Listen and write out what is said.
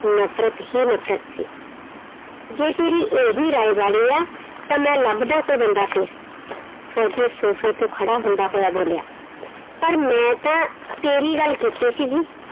ਨਫ਼ਰਤ ਹੀ ਨਫ਼ਰਤ ਸੀ, ਜੇ ਤੇਰੀ ਇਹੀ ਤਾਂ ਮੈਂ ਲੱਭਦਾ ਕੋਈ ਬੰਦਾ ਫਿਰ ਫ਼ੋਜ਼ੀ ਸੋਫ਼ੇ ਤੋਂ ਖੜਾ ਹੁੰਦਾ ਹੋਇਆ ਬੋਲਿਆ, ਪਰ ਮੈਂ ਤਾਂ ਤੇਰੀ ਗੱਲ ਕੀਤੀ ਸੀਗੀ।